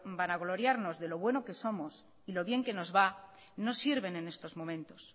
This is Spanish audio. vanagloriarnos de lo buenos que somos y lo bien que nos va no sirven en estos momentos